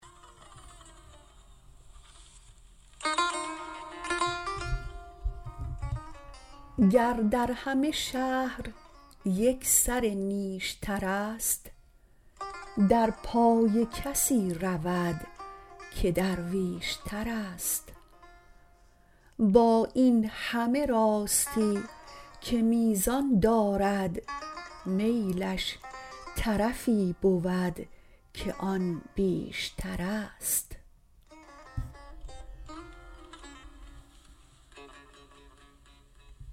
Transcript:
گر در همه شهر یک سر نیشترست در پای کسی رود که درویش ترست با این همه راستی که میزان دارد میلش طرفی بود که آن بیشترست